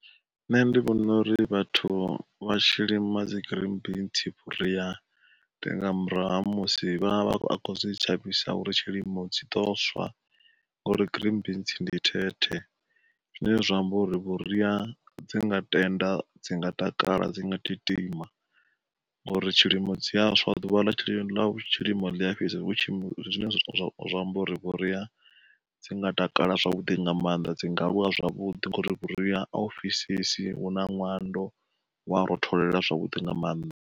Nṋe ndi vhona uri vhathu vha tshi lima dzi green beans vhuria tevh nga murahu ha musi vha vha khou zwi shavhisa uri tshilimo zwi ḓo swa ngauri green beans ndi thethe. Zwine zwa amba uri vhuria dzi nga tenda, dzi nga takala, dzi nga titima ngauri tshilimo dzi a swa, ḓuvha ḽa ḽa tshilimo ḽi a fhisa hu tshi zwine zwa amba uri vhuria dzi nga takala zwavhuḓi nga maanḓa. Dzi nga aluwa zwavhuḓi ngauri vhuria a u fhisesi, hu na ṋwando, hu a rotholela zwavhuḓi nga maanḓa.